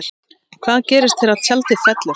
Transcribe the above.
Hvað gerist þegar tjaldið fellur?